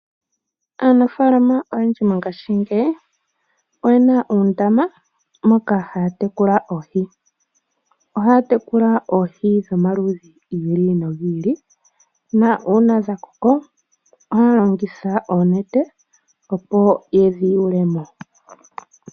Aanfaalama oyendji mongashingeyi, oyena oondama moka haya tekula oohi. Ohaya tekula oohi omaludhi gi ili nogi ili, nuuna dhakoko, ohaya longitha oonete opo yedhi yulemo.